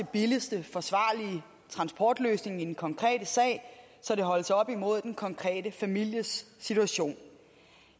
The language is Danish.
billigst forsvarlige transportløsning i den konkrete sag når det holdes op imod den konkrete families situation